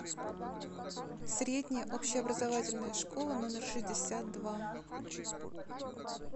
средняя общеобразовательная школа номер шестьдесят два